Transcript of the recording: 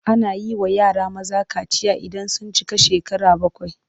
Ana yi wa yara maza kaciya idan sun cika shekara bakwai.